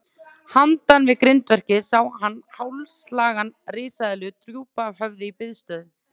Handan við grindverkið sá hann hálslanga risaeðlu drúpa höfði í biðstöðu.